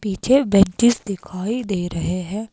पीछे बेंचेस दिखाई दे रहे हैं।